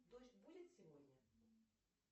дождь будет сегодня